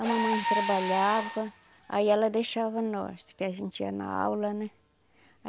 A mamãe trabalhava, aí ela deixava nós, que a gente ia na aula, né?